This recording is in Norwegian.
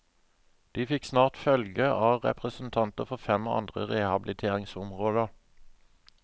De fikk snart følge av representanter for fem andre rehabiliteringsområder.